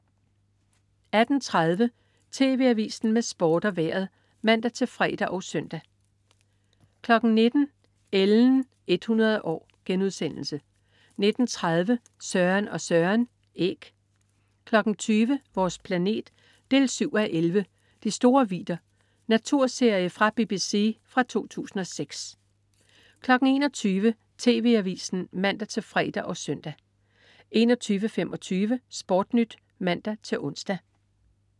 18.30 TV Avisen med Sport og Vejret (man-fre og søn) 19.00 Ellens 100 år* 19.30 Søren og Søren. Æg 20.00 Vores planet 7:11. "De store vidder". Naturserie fra BBC fra 2006 21.00 TV Avisen (man-fre og søn) 21.25 SportNyt (man-ons)